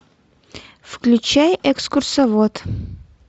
включай экскурсовод